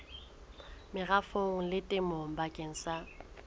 merafong le temong bakeng sa